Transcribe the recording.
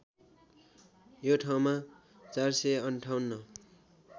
यो ठाउँमा ४५८